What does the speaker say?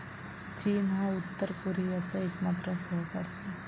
चीन हा उत्तर कोरियाचा एकमात्र सहकारी आहे.